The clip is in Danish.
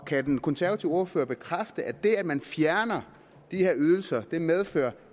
kan den konservative ordfører bekræfte at det at man fjerner de her ydelser medfører